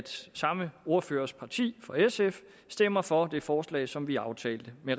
samme ordførers parti sf stemmer for det forslag som vi aftalte i